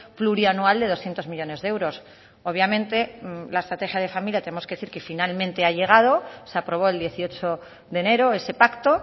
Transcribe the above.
plurianual de doscientos millónes de euros obviamente la estrategia de familia tenemos que decir que finalmente ha llegado se aprobó el dieciocho de enero ese pacto